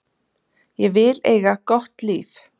Ég vil eiga gott líf.